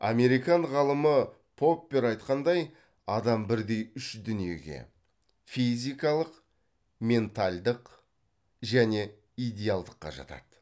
американ ғалымы поппер айтқандай адам бірдей үш дүниеге физикалық ментальдық және идеалдыққа жатады